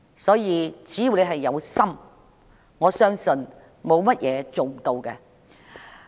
所以，只要有心，我相信沒有事情是做不到的。